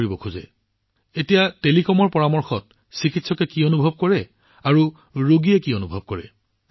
এতিয়া যিহেতু টেলিকমৰ জৰিয়তে সকলো পৰামৰ্শ কৰা হয় চিকিৎসকে কি অনুভৱ কৰে ৰোগীয়ে কি অনুভৱ কৰে